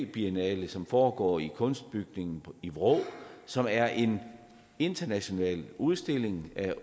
biennale som foregår i kunstbygningen i vrå som er en international udstilling af